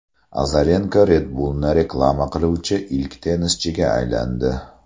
Azarenko Red Bullni reklama qiluvchi ilk tennischiga aylandi.